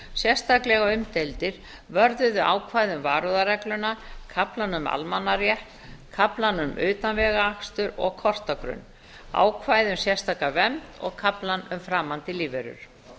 sérstaklega umdeildir vörðuðu ákvæði um varúðarregluna kaflann um almannarétt kaflann um utanvegaakstur og kortagrunn ákvæði um sérstaka vernd og kaflann um framandi lífverur